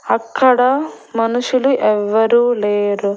అక్కడ మనుషులు ఎవ్వరు లేరు.